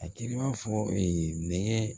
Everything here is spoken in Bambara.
A t'i b'a fɔ ee nɛgɛ